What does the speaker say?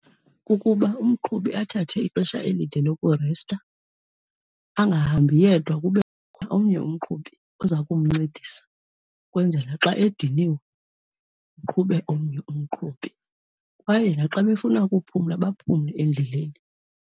Kukuba umqhubi athathe ixesha elide lokuresta. Angahambi yedwa, kubekho omnye umqhubi oza kumncedisa ukwenzela xa ediniwe kuqhube omnye umqhubi kwaye naxa befuna ukuphumla baphumle endleleni.